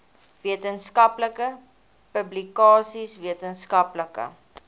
wetenskaplike publikasies wetenskaplike